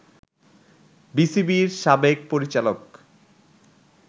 বিসিবির সাবেক পরিচালক